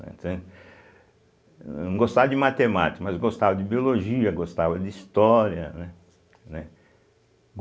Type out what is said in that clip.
Entende. Não gostava de matemática, mas gostava de biologia, gostava de história, né, né.